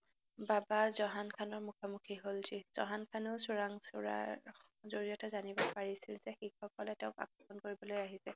বাবাৰ জহান খানৰ মুখামুখি হল, যি জহান খানৰ চোৰাংচোৱাৰ জড়িয়তে জানিব পাৰিলে যে শিখসকলে তেওঁক আক্ৰমণ কৰিবলৈ আহিছে